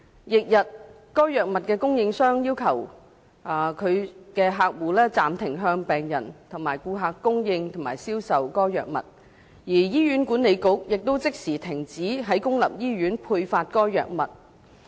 翌日，該藥物的供應商要求其所有客戶暫停向病人或顧客供應及銷售該藥物，而醫院管理局亦即時停止在公立醫院配發該藥物。